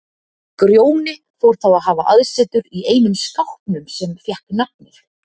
Grjóni fór þá að hafa aðsetur í einum skápnum sem fékk nafnið